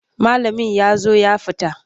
Malamin ya zo ya fita.